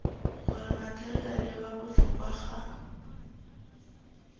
gore matheriale wa botlhokwa ga